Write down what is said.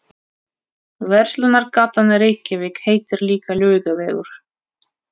Verslunargatan í Reykjavík heitir líka Laugavegur.